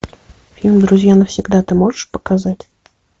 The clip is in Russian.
фильм друзья навсегда ты можешь показать